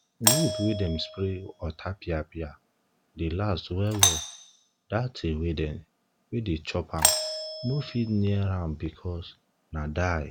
wood wey dem spray otapiapia dey last well well dat thing wey dem wey dey chop am no fit near am because na die